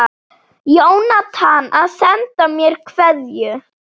Jónatan að senda mér kveðju?